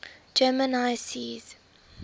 german high seas